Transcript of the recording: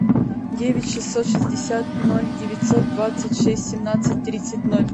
девять шестьсот шестьдесят ноль девятьсот двадцать шесть семнадцать тридцать ноль